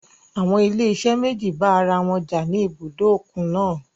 Àwọn ilé-iṣẹ́ méjì bá ara wọn jà ní ibùdó òkun náà.